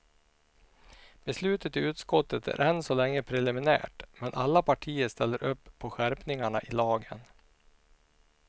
Beslutet i utskottet är än så länge preliminärt men alla partier ställer upp på skärpningarna i lagen.